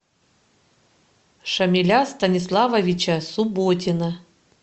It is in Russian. шамиля станиславовича субботина